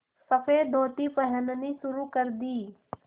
सफ़ेद धोती पहननी शुरू कर दी